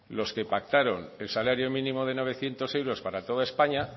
los que pactaron el salario mínimo de novecientos euros para toda españa